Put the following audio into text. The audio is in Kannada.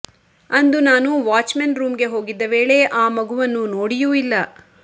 ಅಂದು ನಾನು ವಾಚ್ಮೆನ್ ರೂಂಗೆ ಹೋಗಿದ್ದ ವೇಳೆ ಆ ಮಗುವನ್ನು ನೋಡಿಯೂ ಇಲ್ಲ